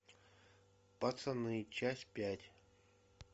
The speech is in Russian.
пацаны часть пять